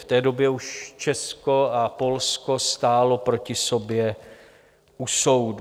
V té době už Česko a Polsko stálo proti sobě u soudu.